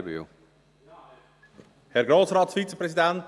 Auf die Einführung eines Zentrumsbonus ist zu verzichten.